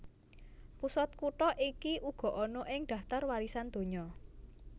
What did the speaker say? Pusat kutha iki uga ana ing daftar warisan donya